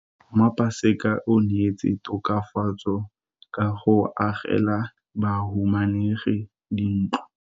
Mmasepala o neetse tokafatso ka go agela bahumanegi dintlo.